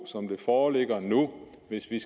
som den foreligger nu hvis det